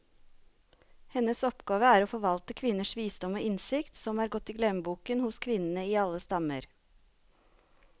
Hennes oppgave er å forvalte kvinners visdom og innsikt, som er gått i glemmeboken hos kvinnene i alle stammer.